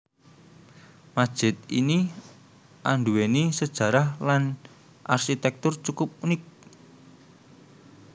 Masjid ini andhuwéni sejarah lan arsitektur cukup unik